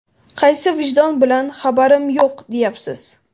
Qaysi vijdon bilan ‘Xabarim yo‘q!’, deyapsiz?”.